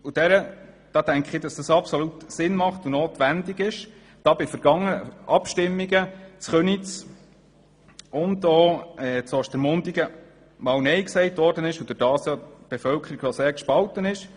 Dies macht Sinn und ist absolut notwendig, da bei vergangenen Abstimmungen in Köniz und in Ostermundigen nein gesagt wurde und die Bevölkerung sehr gespalten ist.